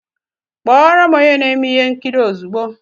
Kpọọ ro'm onye na-eme ihe nkiri ozugbo!